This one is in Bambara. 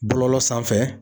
Bɔlɔlɔ sanfɛ